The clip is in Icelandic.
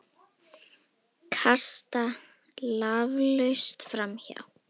Kasta laflaust framhjá.